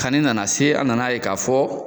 Kanni nana se, an nana ye ka fɔ